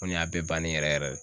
Ko nin y'a bɛɛ bannen yɛrɛ yɛrɛ de